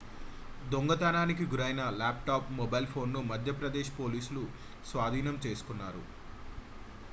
దొంగతనానికి గురైన lap top mobile phone ను మధ్యప్రదేశ్ పోలీసులు స్వాధీనం చేసుకున్నారు